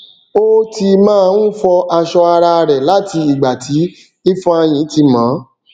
ó ti máa n fọ aṣọ ara rẹ láti ìgbà tí ifeanyi tí mọ ọ